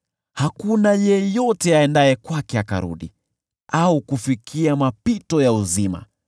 Hakuna yeyote aendaye kwake akarudi, au kufikia mapito ya uzima.